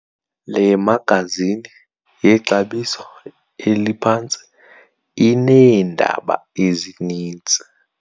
Le magazini yexabiso eliphantsi ineendaba ezininzi.